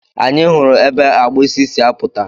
Anyị hụrụ ebe agbụsị si apụta.